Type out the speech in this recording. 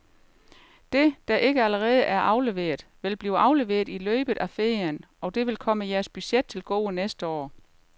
Det, der ikke allerede er afleveret, vil blive afleveret i løbet af ferien, og det vil komme jeres budget til gode næste år.